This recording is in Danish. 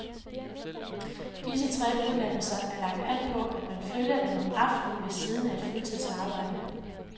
Disse tre uddannelser er lagt an på, at man følger dem om aftenen ved siden af et fuldtidsarbejde.